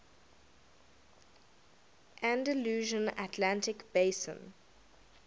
andalusian atlantic basin